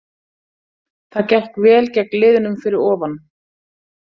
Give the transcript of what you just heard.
Það gekk vel gegn liðunum fyrir ofan.